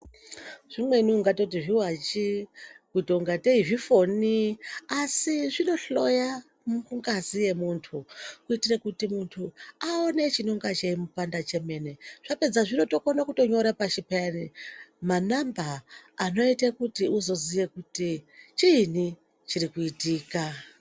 Zvimweni zvakona ungatoti zviwachi ,kutongadeyizvifoni ,asi zvinohloya mungazi yemuntu kuitira kuti muntu awone chinenge chimupanda chemene. Zvapedza zvinotokona kunyora pasi manamba anoite kuti uzoziva kuti chinyi chirikuitika